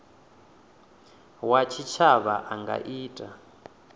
wa tshitshavha a nga ita